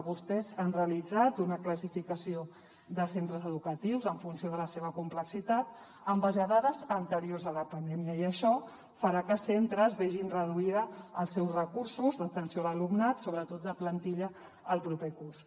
vostès han realitzat una classificació de centres educatius en funció de la seva complexitat en base a dades anteriors a la pandèmia i això farà que centres vegin reduïts els seus recursos d’atenció a l’alumnat sobretot de la plantilla el proper curs